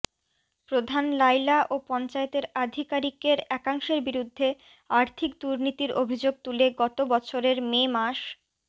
প্রধান লায়লা ও পঞ্চায়েতের আধিকারিকের একাংশের বিরুদ্ধে আর্থিক দুর্নীতির অভিযোগ তুলে গত বছরের মে মাস